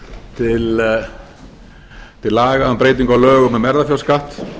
til laga um breyting á lögum um erfðafjárskatt